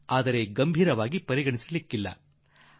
ಆದರೆ ಪ್ರಾಯಶಃ ಇಷ್ಟು ಗಂಭೀರವಾಗಿ ತೆಗೆದುಕೊಳ್ಳದಿರಬಹುದು